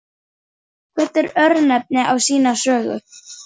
Hvert örnefni á sína sögu.